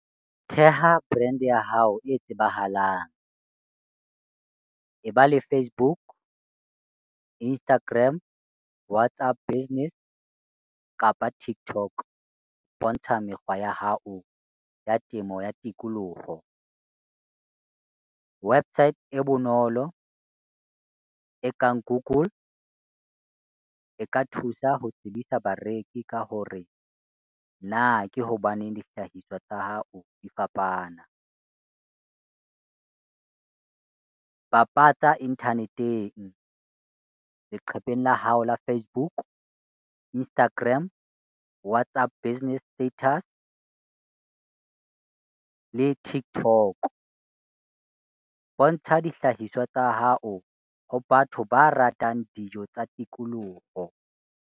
Theha brand ya hao e tsebahalang. E ba le Facebook, Instagram, WhatsApp business kapa TikTok, bontsha mekgwa ya hao ya temo ya tikoloho. Website e bonolo e kang Google e ka thusa ho tsebisa bareki ka hore na ke hobaneng dihlahiswa tsa hao di fapana? Bapatsa internet-eng, leqhepeng la hao la Facebook, Instagram, WhatsApp business status le TikTok. Bontsha dihlahiswa tsa hao ho batho ba ratang dijo tsa tikoloho.